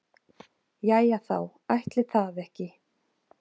Jæja þá, ætli það ekki.